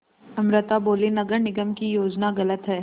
अमृता बोलीं नगर निगम की योजना गलत है